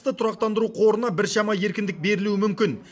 тұрақтандыру қорына біршама еркіндік берілуі мүмкін